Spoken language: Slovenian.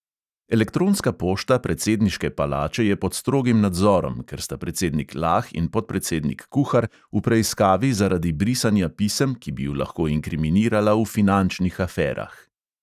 Elektronska pošta predsedniške palače je pod strogim nadzorom, ker sta predsednik lah in podpredsednik kuhar v preiskavi zaradi brisanja pisem, ki bi ju lahko inkriminirala v finančnih aferah.